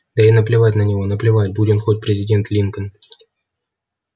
да ей наплевать на него наплевать будь он хоть президент линкольн